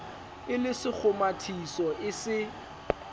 e le sekgomathiso e se